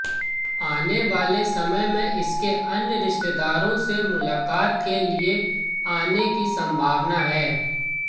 आने वाले समय में इसके अन्य रिश्तेदारों के मुलाकात के लिए आने की संभावना है